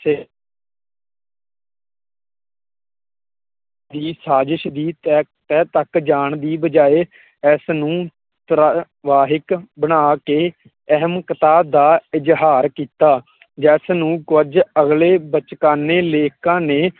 ਦੀ ਸ਼ਾਜਿਜ਼ ਦੀ ਤਹਿ ਤਹਿ ਤਕ ਜਾਣ ਦੀ ਬਜਾਏ ਇਸ ਨੂੰ ਬਣਾ ਕੁੇ ਅਹਿਮਕਤਾ ਦਾ ਇਜ਼ਹਾਰ ਕੀਤਾ। ਜਿਸ ਨੂੰ ਕੁਝ ਅਗਲੇ ਬਚਕਾਨੇ ਲੇਖਕਾਂ ਨੇ